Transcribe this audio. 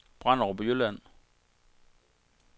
Branderup Jylland